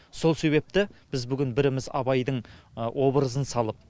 сол себепті біз бүгін біріміз абайдың образын салып